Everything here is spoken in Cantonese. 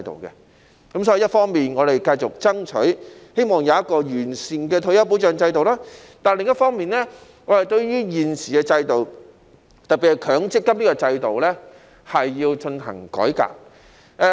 所以，一方面，我們繼續爭取，希望有一個完善的退休保障制度；但另一方面，對於現時的制度，特別是強積金的制度是要進行改革。